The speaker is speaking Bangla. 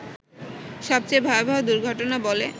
সবচেয়ে ভয়াবহ দুর্ঘটনা বলে